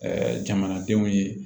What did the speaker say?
jamanadenw ye